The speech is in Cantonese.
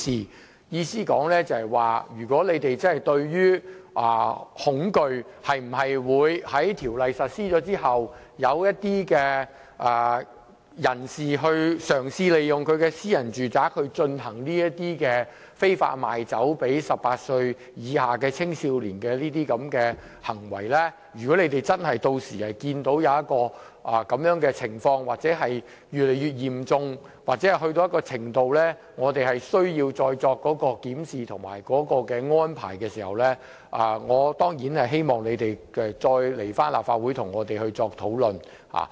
我的意思就是，如果你們真的害怕條例實施後，出現有人嘗試利用私人住宅非法賣酒類給18歲以下青少年的行為，甚至屆時如果真的看到有這種情況越來越嚴重到一種程度，以致我們有需要再作檢視和安排，我當然希望你再來立法會跟我們討論。